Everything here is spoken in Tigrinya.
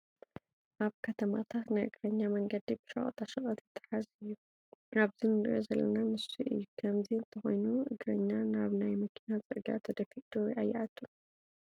ኣብ ከተማታት ናይ እግረኛ መንገዲ ብሸቐጣ ሸቐጥ ይተሓዝ እዩ፡፡ ኣብዚ ንሪኦ ዘለና ንሱ እዩ፡፡ ከምዚ እንተኾኑ እግረኛ ናብ ናይ መኪና ፅርጊያ ተደፊኡ ዶ ኣይኣቱን?